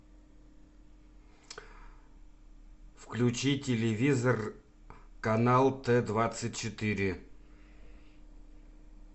включи телевизор канал т двадцать четыре